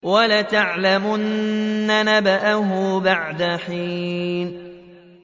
وَلَتَعْلَمُنَّ نَبَأَهُ بَعْدَ حِينٍ